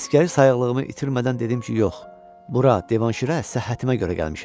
Əsgəri sayıqlığımı itirmədən dedim ki, yox, bura Divanşirə səhhətimə görə gəlmişəm.